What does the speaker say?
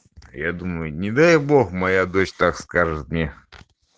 я думаю не дай бог моя дочь так скажет мне